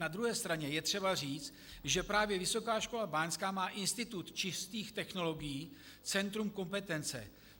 Na druhé straně je třeba říct, že právě Vysoká škola báňská má Institut čistých technologií, centrum kompetence.